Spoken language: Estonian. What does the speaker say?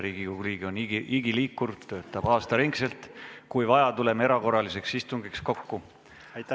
Riigikogu liige on igiliikur, töötab aasta ringi ja kui vaja, tuleme erakorraliseks istungiks kokku.